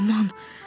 Aman.